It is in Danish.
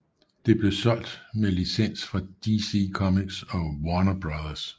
Det blev solgt meds licens fra DC Comics og Warner Bros